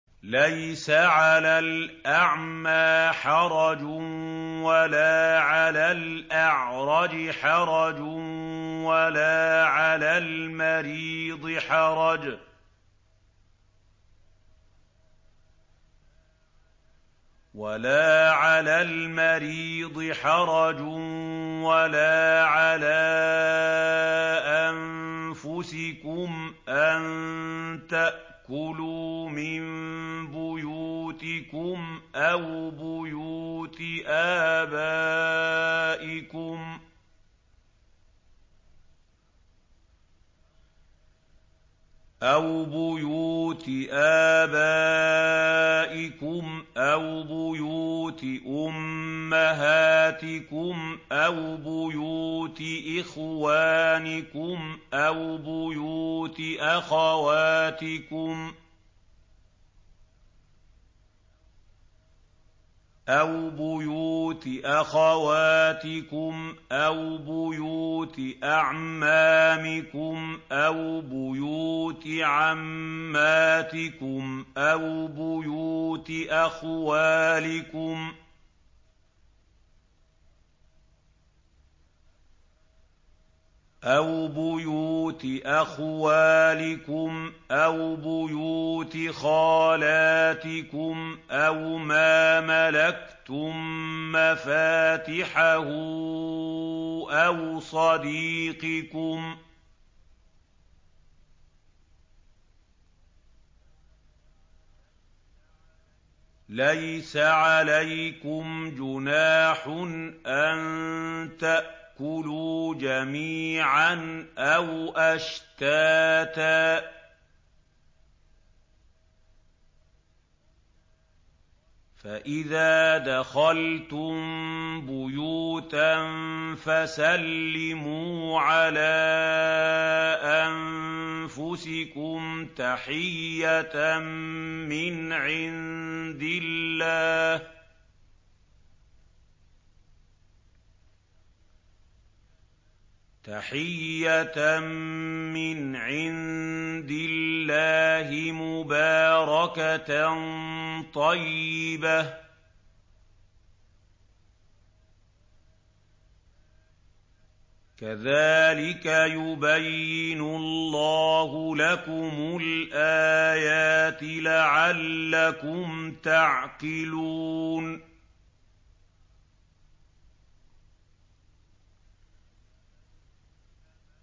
لَّيْسَ عَلَى الْأَعْمَىٰ حَرَجٌ وَلَا عَلَى الْأَعْرَجِ حَرَجٌ وَلَا عَلَى الْمَرِيضِ حَرَجٌ وَلَا عَلَىٰ أَنفُسِكُمْ أَن تَأْكُلُوا مِن بُيُوتِكُمْ أَوْ بُيُوتِ آبَائِكُمْ أَوْ بُيُوتِ أُمَّهَاتِكُمْ أَوْ بُيُوتِ إِخْوَانِكُمْ أَوْ بُيُوتِ أَخَوَاتِكُمْ أَوْ بُيُوتِ أَعْمَامِكُمْ أَوْ بُيُوتِ عَمَّاتِكُمْ أَوْ بُيُوتِ أَخْوَالِكُمْ أَوْ بُيُوتِ خَالَاتِكُمْ أَوْ مَا مَلَكْتُم مَّفَاتِحَهُ أَوْ صَدِيقِكُمْ ۚ لَيْسَ عَلَيْكُمْ جُنَاحٌ أَن تَأْكُلُوا جَمِيعًا أَوْ أَشْتَاتًا ۚ فَإِذَا دَخَلْتُم بُيُوتًا فَسَلِّمُوا عَلَىٰ أَنفُسِكُمْ تَحِيَّةً مِّنْ عِندِ اللَّهِ مُبَارَكَةً طَيِّبَةً ۚ كَذَٰلِكَ يُبَيِّنُ اللَّهُ لَكُمُ الْآيَاتِ لَعَلَّكُمْ تَعْقِلُونَ